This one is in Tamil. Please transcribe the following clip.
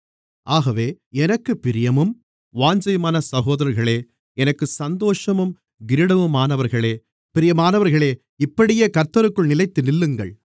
ஆகவே எனக்குப் பிரியமும் வாஞ்சையுமான சகோதரர்களே எனக்குச் சந்தோஷமும் கிரீடமுமானவர்களே பிரியமானவர்களே இப்படியே கர்த்தருக்குள் நிலைத்து நில்லுங்கள்